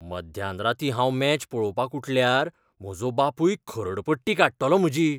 मध्यानरातीं हांव मॅच पळोवपाक उठल्यार म्हजो बापूय खरडपट्टी काडटलो म्हजी.